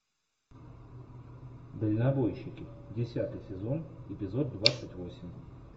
дальнобойщики десятый сезон эпизод двадцать восемь